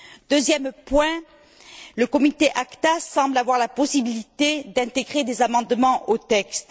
Deuxième point le comité ACTA semble avoir la possibilité d'intégrer des amendements aux textes.